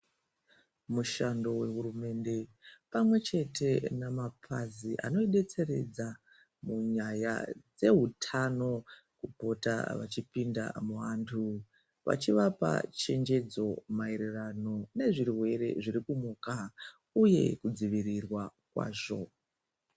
Mushando vehurumende pamwechete nemapazi anobetseredza munyaya dzehutano. Kupota vachipinda muvantu vachivapa chenjedzo naererano nezvirwere zvirikumuka, uye kudzivirirwa kwazvo.